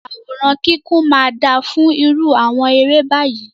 Àwòrán kíkún máa dára fún irú àwọn eré báyìí.